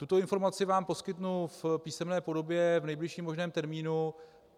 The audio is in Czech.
Tuto informaci vám poskytnu v písemné podobě v nejbližším možném termínu.